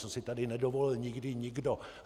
Co si tady nedovolil nikdy nikdo!